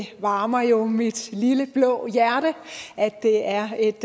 det varmer jo mit lille blå hjerte at det er et